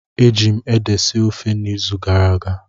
Eji m ede sie ofe n'izu gara aga